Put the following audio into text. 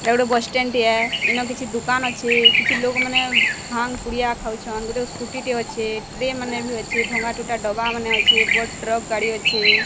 ଏଇଟା ଗୋଟେ bus stand ଟିଏ ଇନ କିଛି ଦୁକାନ ଅଛି କିଛି ଲୋକ ମାନେ ଭାଙ୍ଗ ପୁଡିଆ ଖାଉଚନ ଗୋଟେ ସ୍କୁଟି ଟେ ଅଛେ ଟ୍ରେ ମାନେ ବି ଅଛେ ଭଙ୍ଗା ଟୁଟା ଡବା ମାନେ ଅଛେ ବଡ଼ ଟ୍ରକ ଗାଡ଼ି ଅଛେ।